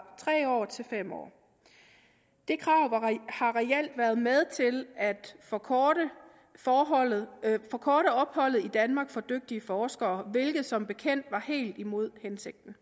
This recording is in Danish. tre år til fem år det krav har reelt været med til at forkorte opholdet forkorte opholdet i danmark for dygtige forskere hvilket som bekendt var helt imod hensigten